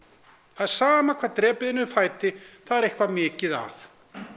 það er sama hvar drepið er niður fæti það er eitthvað mikið að